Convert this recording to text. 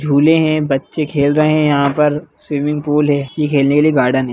झूले है बच्चे खेल रहे है यहाँ पर स्विमिंग पूल है ये खेलने के लिए गार्डन है।